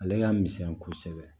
Ale ka misɛn kosɛbɛ